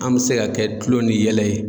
An bɛ se ka kɛ kulo ni yɛlɛ ye.